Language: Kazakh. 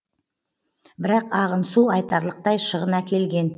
бірақ ағын су айтарлықтай шығын әкелген